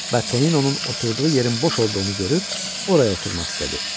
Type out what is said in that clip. Və Toninonun oturduğu yerin boş olduğunu görüb oraya oturmaq istədi.